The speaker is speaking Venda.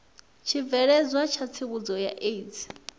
tshibveledzwa tsha tsivhudzo ya aids